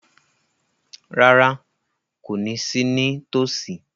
Rárá, kò ní sí ní tòsí